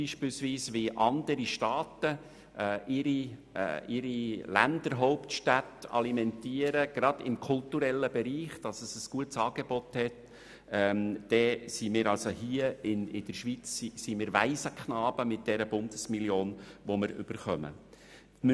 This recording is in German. Wenn man vergleicht, wie andere Staaten ihre Hauptstädte gerade im kulturellen Bereich alimentieren, um ein gutes Angebot zu präsentieren, dann sind wir in der Schweiz mit der Bundesmillion, die wir erhalten, geradezu Waisenknaben.